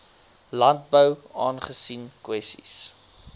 landbou aangesien kwessies